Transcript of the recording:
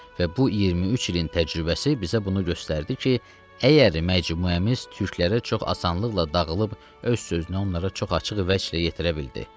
Və bu 23 ilin təcrübəsi bizə bunu göstərdi ki, əgər məcmuəmiz türklərə çox asanlıqla dağılıb öz sözünü onlara çox açıq vəçlə yetirə bildi.